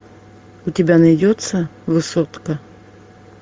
у тебя найдется высотка